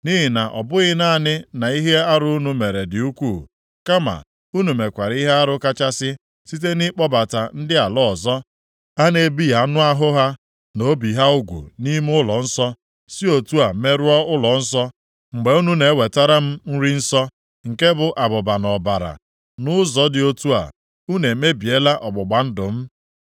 Nʼihi na ọ bụghị naanị na ihe arụ unu mere dị ukwu, kama unu mekwara ihe arụ kachasị site nʼịkpọbata ndị ala ọzọ a na-ebighị anụ ahụ ha na obi ha ugwu nʼime ụlọnsọ, si otu a merụọ ụlọnsọ mgbe unu na-ewetara m nri nsọ, nke bụ abụba na ọbara. Nʼụzọ dị otu a, unu emebiela ọgbụgba ndụ m.